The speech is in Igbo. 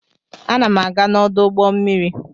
Ana m aga n'ọdụ ụgbọ mmiri.